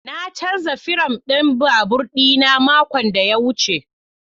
Na canza firam ɗin babur ɗina makon da ya wuce.